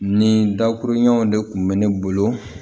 Nin dakurun ɲɛ de kun bɛ ne bolo